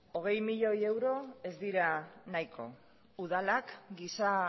hogei milioi euro ez dira nahiko udalak giza